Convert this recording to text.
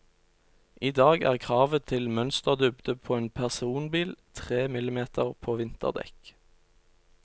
I dag er kravet til mønsterdybde på en personbil tre millimeter på vinterdekk.